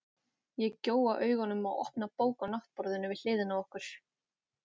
Ég gjóa augunum á opna bók á náttborðinu við hliðina á okkur.